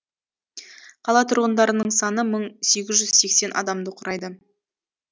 қала тұрғындарының саны мың сегіз жүз сексен адамды құрайды